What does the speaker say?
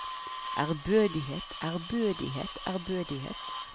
ærbødighet ærbødighet ærbødighet